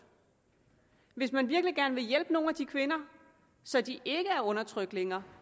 hvis man virkelig gerne vil hjælpe nogle af de kvinder så de ikke er undertrykte længere